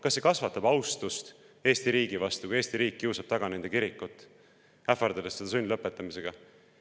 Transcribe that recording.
Kas see kasvatab austust Eesti riigi vastu, kui Eesti riik kiusab taga nende kirikut, ähvardades seda sundlõpetamisega?